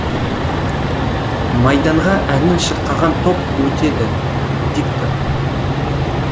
майданға әнін шырқаған топ өтеді диктор